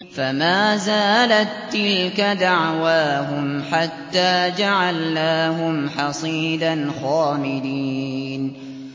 فَمَا زَالَت تِّلْكَ دَعْوَاهُمْ حَتَّىٰ جَعَلْنَاهُمْ حَصِيدًا خَامِدِينَ